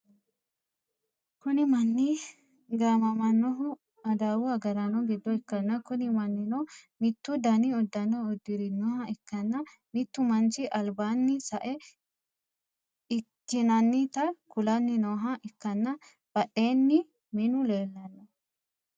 kuni manni gaamamannohu adawu agaraano giddo ikkanna, kuni mannino mittu dani uddano uddirinoha ikkanna, mittu manchi albaanni sae ikkinannita kulanni nooha ikkanna, badheenni minu leellanno.